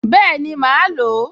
Bẹ́ẹ̀ni, màá lò ó